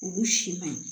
Olu si man ɲi